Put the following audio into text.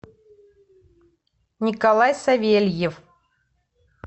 николай савельев